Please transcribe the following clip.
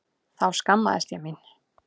Þá skammaðist ég mín.